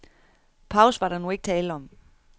Pause var der nu ikke tale om.